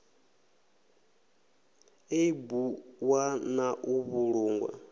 ḽeibu ḽwa na u vhulungwa